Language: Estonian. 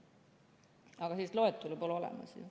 Aga sellist loetelu pole olemas.